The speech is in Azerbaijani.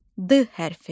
D hərfi.